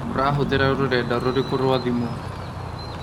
Ũrahũthĩra rũrenda rũrĩku rwa thimũ?